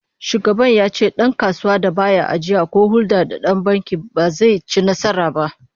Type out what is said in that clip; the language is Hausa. Shugaban ya ce dankasuwar da ba ya ajiya ko hulda da banki ba, ba zai ci nasara ba